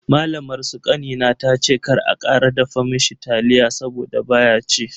Malamar su kanina tace kar a kara dafa mishi taliya saboda baya ci.